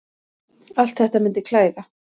Allt þetta myndi klæða